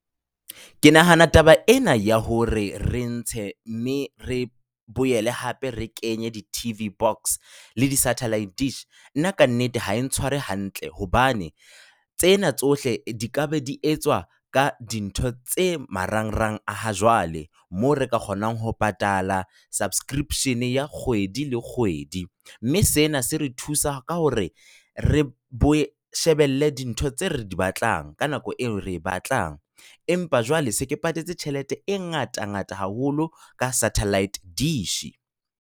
Ke nahana taba ena ya hore re ntshe mme re boele hape re kenye di-TV box le di-satellite dish, nna ka nnete ha e ntshware hantle. Hobane tsena tsohle di ka be di etswa ka dintho tse marangrang a ha jwale. Moo re ka kgonang ho patala subscription ya kgwedi le kgwedi. Mme sena se re thusa ka hore re shebelle dintho tse re di batlang ka nako eo re batlang. Empa jwale se ke patetse tjhelete e ngata ngata haholo ka satellite dish.